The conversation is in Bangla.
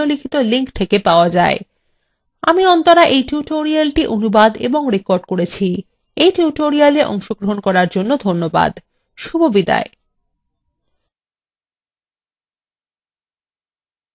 আমি অন্তরা এই tutorialটি অনুবাদ এবং রেকর্ড করেছি এই tutorialএ অংশগ্রহন করার জন্য ধন্যবাদ শুভবিদায়